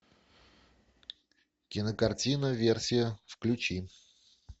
кинокартина версия включи